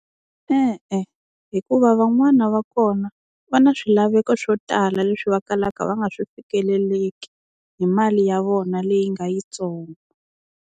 E-e hikuva van'wana va kona va na swilaveko swo tala leswi va kalaka va nga swi fikeleleki hi mali ya vona leyi nga yitsongo.